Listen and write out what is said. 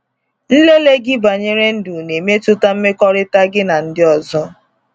Nlele gị banyere ndụ na-emetụta mmekọrịta gị na ndị ọzọ.